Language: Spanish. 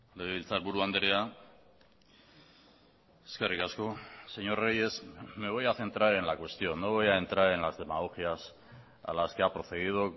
legebiltzarburu andrea eskerrik asko señor reyes me voy a centrar en la cuestión no voy a entrar en las demagogias a las que ha procedido